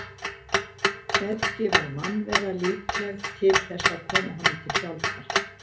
Hvergi var mannvera líkleg til þess að koma honum til hjálpar.